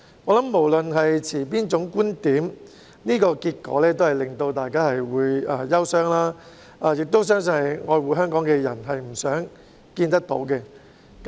我想無論大家持哪種觀點，這個結果都會令人感到憂傷，我相信愛護香港的人都不想看到這個結果。